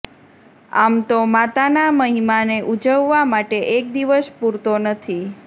આમ તો માતાના મહિમાને ઉજવવા માટે એક દિવસ પુરતો નથી